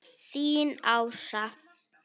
Þín Ása.